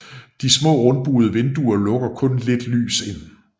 De smà rundbuede vinduer lukker kun lidt lys ind